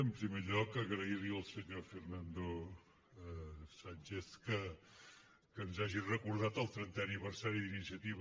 en primer lloc agrair li al senyor fernando sánchez que ens hagi recordat el trentè aniversari d’iniciativa